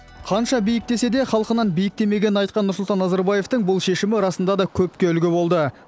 қанша биіктесе де халқынан биіктемегенін айтқан нұрсұлтан назарбаевтың бұл шешімі расында да көпке үлгі болды